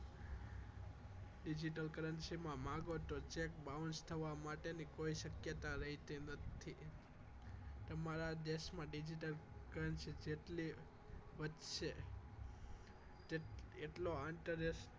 Digital currency માં cheque bounce થવા માટે કોઈ શક્યતા રહેલી નથી તમારા દેશમાં digital currency જેટલી વધશે તેટલો આંતરરાષ્ટ્રીય